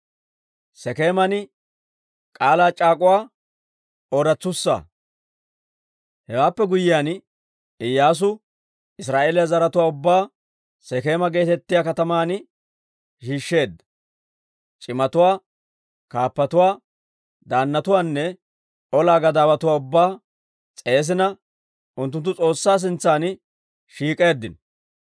Hewaappe guyyiyaan Iyyaasu Israa'eeliyaa zaratuwaa ubbaa Sekeema geetettiyaa kataman shiishsheedda. C'imatuwaa, kaappatuwaa, daannatuwaanne ola gadaawatuwaa ubbaa s'eesina unttunttu S'oossaa sintsan shiik'eeddino.